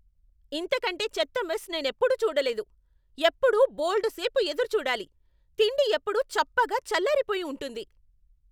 ఇంతకంటే చెత్త మెస్ నేనెప్పుడూ చూడలేదు. ఎప్పుడూ బోల్డు సేపు ఎదురు చూడాలి, తిండి ఎప్పుడూ చప్పగా చల్లారిపోయి ఉంటుంది.